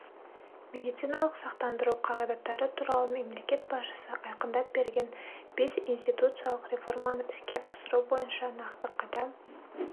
медициналық сақтандыру қағидаттары туралы мемлекет басшысы айқындап берген бес институционалдық реформаны іске асыру бойынша нақты қадам